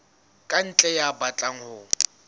ka ntle ya batlang ho